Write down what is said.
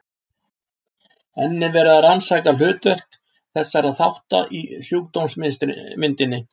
Enn er verið að rannsaka hlutverk þessara þátta í sjúkdómsmyndinni.